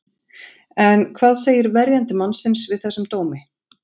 En hvað segir verjandi mannsins við þessum dómi?